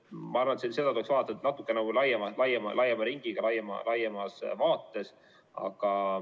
Ma arvan, et seda tuleks vaadata natukene laiema ringiga ja laiemas vaates.